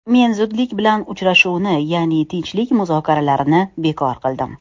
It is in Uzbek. Men zudlik bilan uchrashuvni, ya’ni tinchlik muzokaralarini bekor qildim.